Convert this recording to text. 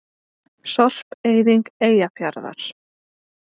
Sorpeyðing Eyjafjarðar.